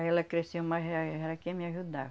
Aí ela cresceu, mas eh ela queria me ajudar.